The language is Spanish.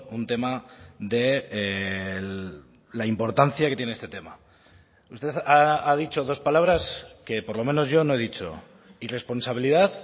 un tema de la importancia que tiene este tema usted ha dicho dos palabras que por lo menos yo no he dicho irresponsabilidad